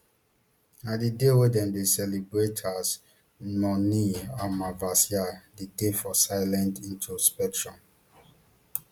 na di day wey dem dey celebrate as mauni amavasya di day for silent introspection